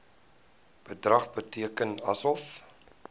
bedrag bereken asof